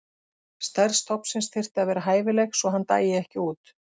Stærð stofnsins þyrfti að vera hæfileg svo að hann dæi ekki út.